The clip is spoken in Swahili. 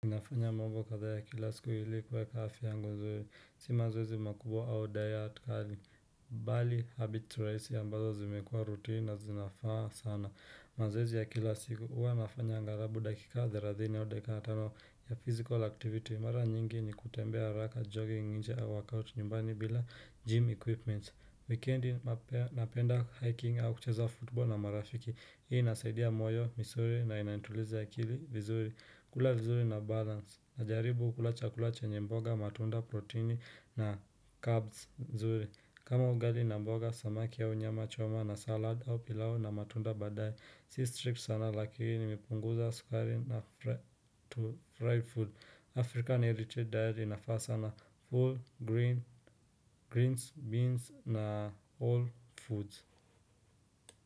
Inafanya mambo kadha ya kila siku ilikuwe kafi yangu nzuri, si mazwezi makubo au diet, curling, bali habitu raisi ambazo zimekua rutini na zinafaa sana. Mazozi ya kila siku uwa nafanya angarabu dakika 30 ya 25 ya physical activity, mara nyingi ni kutembea raka jogging inje au workout nyumbani bila gym equipment. Weekend na penda hiking au kucheza futbol na marafiki, hii nasaidia moyo, misuri na inaintuliza kili vizuri. Kula vizuri na balance na jaribu ukula chakula chenye mboga, matunda, proteini na carbs mzuri. Kama ugali na mboga, samaki ya nyama, choma na salad au pilau na matunda badai. Si strict sana lakini ipunguza skari na fried food. African-erated diet inafasa na full grains, beans na all foods.